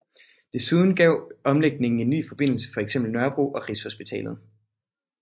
Desuden gav omlægningen en ny forbindelse til for eksempel Nørrebro og Rigshospitalet